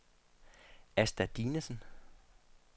Asta Dinesen